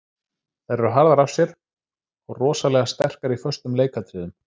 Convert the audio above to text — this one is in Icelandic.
Þær eru harðar af sér og rosalega sterkar í föstum leikatriðum.